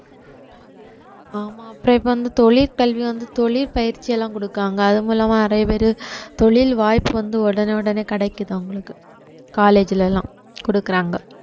ஆமா அப்புறம் இப்ப வந்து தொழிற்கல்வி வந்து தொழில் பயிற்சி எல்லாம் கொடுக்கிறாங்க அது மூலமா நிறைய பேரு தொழில் வாய்ப்பு வந்து உடனே உடனே கிடைக்குது அவங்களுக்கு college ல எல்லாம் கொடுக்குறாங்க